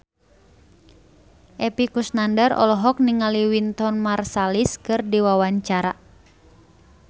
Epy Kusnandar olohok ningali Wynton Marsalis keur diwawancara